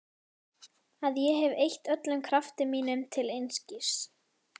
Að ég hef eytt öllum krafti mínum til einskis.